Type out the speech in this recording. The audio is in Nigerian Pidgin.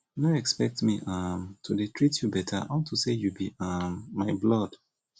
no expect me um to dey treat you beta unto say you be um my blood